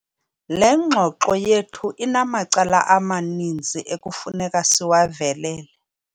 Le ngxoxo yethu inamacala amaninzi ekufuneka siwavelele.